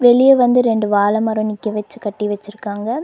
வெளிய வந்து ரெண்டு வாழ மரோ நிக்க வெச்சு கட்டி வெச்சுருக்காங்க.